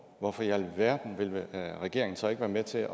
hvorfor i alverden vil regeringen så ikke være med til